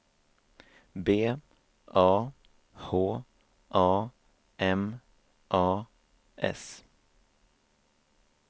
B A H A M A S